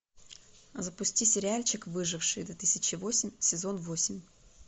запусти сериальчик выжившие две тысячи восемь сезон восемь